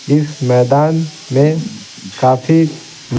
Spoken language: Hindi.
इस मैदान में काफी--